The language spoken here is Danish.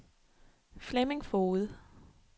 Flemming Foged